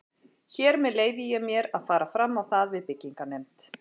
Hér með leyfi ég mér, að fara fram á það við byggingarnefnd